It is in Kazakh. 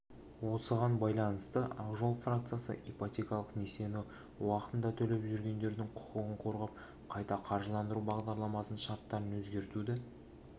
осыған байланысты ақжол фракциясы ипотекалық несиені уақытында төлеп жүргендердің құқығын қорғап қайта қаржыландыру бағдарламасының шарттарын өзгертуді